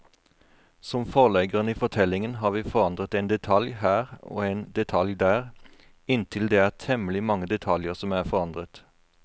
Som forleggeren i fortellingen har vi forandret en detalj her og en detalj der, inntil det er temmelig mange detaljer som er forandret.